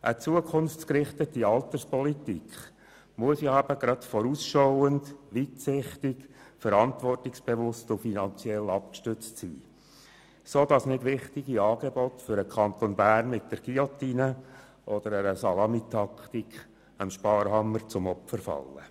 Eine zukunftsgerichtete Alterspolitik muss eben gerade vorausschauend, weitsichtig, verantwortungsbewusst und finanziell abgestützt sein, damit wichtige Angebote für den Kanton Bern nicht mit der Guillotine oder mittels Salamitaktik dem Sparhammer zum Opfer fallen.